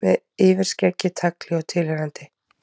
Með yfirskeggi, tagli og tilheyrandi.